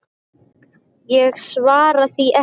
Ég svaraði því ekki.